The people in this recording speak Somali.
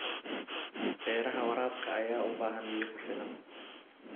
Beeraha waraabka ayaa u baahan biyo ku filan.